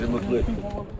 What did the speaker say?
Bizi mutlu etdin.